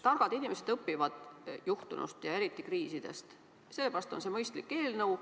Targad inimesed õpivad juhtunust ja eriti kriisidest, seepärast on see mõistlik eelnõu.